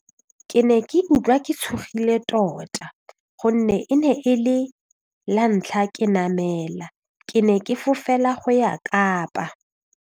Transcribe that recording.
Ke ne ke utlwa ke tshogile tota gonne e ne e le la ntlha ke namela ke ne ke fofela go ya Kapa.